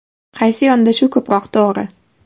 Qaysi yondashuv ko‘proq to‘g‘ri?